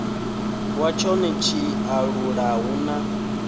wa tshone tshiṱalula hu na